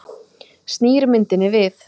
Snýr myndinni við.